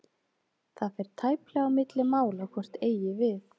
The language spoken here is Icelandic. Það fer tæplega á milli mála hvort eigi við.